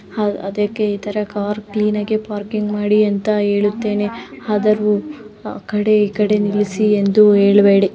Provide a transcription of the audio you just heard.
ಆ ಅದಕ್ಕೆ ಇಥರ ಕಾರು ಕ್ಲೀನ್ ಆಗಿ ಪಾರ್ಕಿಂಗ್ ಮಾಡಿ ಅಂತ ಹೇಳುತ್ತೇನೆ ಆದರು ಆಕಡೆ ಈಕಡೆ ನಿಲ್ಲಿಸಿ ಎಂದು ಹೇಳಬೇಡಿ.